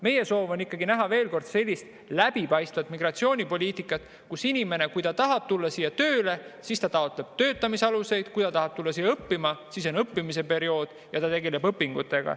Meie soov on näha, veel kord, sellist läbipaistvat migratsioonipoliitikat, et kui inimene tahab tulla siia tööle, siis ta taotleb töötamise aluseid, ja kui ta tahab tulla siia õppima, siis on õppimisperiood ja ta tegeleb õpingutega.